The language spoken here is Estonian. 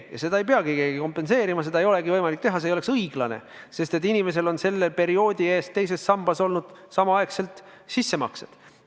Ja seda ei peagi keegi kompenseerima, seda ei olegi võimalik teha, see ei oleks õiglane, sest et inimesele on selle perioodi eest tehtud teise sambasse sissemakseid.